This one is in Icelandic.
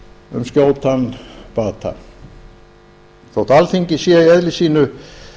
um skjótan bata þótt alþingi sé í eðli sínu